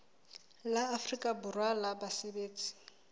la afrika borwa la basebetsi